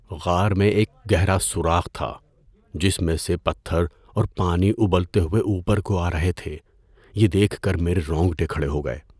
غار میں ایک گہرا سوراخ تھا جس میں سے پتھر اور پانی ابلتے ہوئے اوپر کو آ رہے تھے، یہ دیکھ کر میرے رونگٹے کھڑے ہو گئے۔